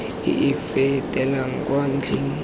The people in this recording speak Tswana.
e e fetelang kwa ntlheng